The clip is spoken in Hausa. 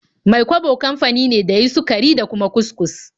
Mai-kwabo kafani ne da ya yin sukari da kuma kus-kus.